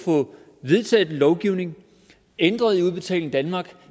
få vedtaget en lovgivning ændret i udbetaling danmark